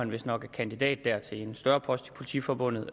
vistnok er kandidat til en større post i politiforbundet og